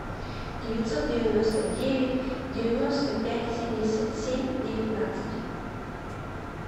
девятьсот девяносто девять девяносто пять семьдесят семь девятнадцать